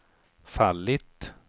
fallit